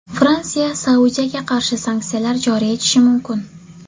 Fransiya Saudiyaga qarshi sanksiyalar joriy etishi mumkin.